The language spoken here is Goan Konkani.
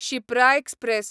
शिप्रा एक्सप्रॅस